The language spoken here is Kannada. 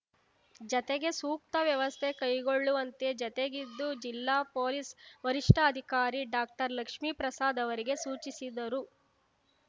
ಜತೆಗೆ ಸೂಕ್ತ ವ್ಯವಸ್ಥೆ ಕೈಗೊಳ್ಳುವಂತೆ ಜತೆಗಿದ್ದು ಜಿಲ್ಲಾ ಪೊಲೀಸ್ ವರಿಷ್ಠಾಧಿಕಾರಿ ಡಾಕ್ಟರ್ಲಕ್ಷ್ಮೀಪ್ರಸಾದ್ ಅವರಿಗೆ ಸೂಚಿಸಿದರು